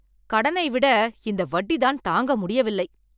கடனை விட இந்த வட்டிதான் தாங்கமுடியவில்லை.